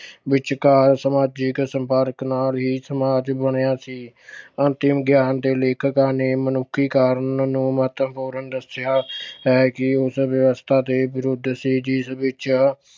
ਵਿਚਕਾਰ ਸਮਾਜਿਕ ਸੰਪਰਕ ਨਾਲ ਹੀ ਸਮਾਜ ਬਣਿਆ ਸੀ। ਆਤਮ ਗਿਆਨ ਦੇ ਲੇਖਕਾਂ ਨੇ ਮਨੁੱਖੀ ਕਾਰਨ ਨੂੰ ਮਹੱਤਵਪੂਰਨ ਦੱਸਿਆ ਹੈ ਕਿ ਉਸ ਵਿਵਸਥਾ ਦੇ ਵਿਰੁੱਧ ਸੀ ਜਿਸ ਵਿੱਚ